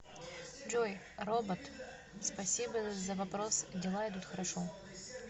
джой робот спасибо за вопрос дела идут хорошо